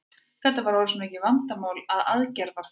Þetta var orðið svo mikið vandamál að aðgerða var þörf.